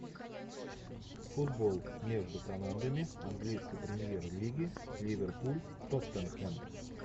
футбол между командами английской премьер лиги ливерпуль тоттенхэм